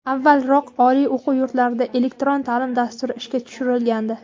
Avvalroq oliy o‘quv yurtlarida elektron ta’lim dasturi ishga tushirilgandi.